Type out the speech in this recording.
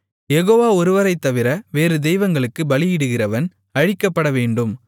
யெகோவா ஒருவரைத்தவிர வேறு தெய்வங்களுக்குப் பலியிடுகிறவன் அழிக்கப்படவேண்டும்